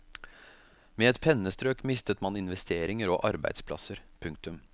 Med et pennestrøk mister man investeringer og arbeidsplasser. punktum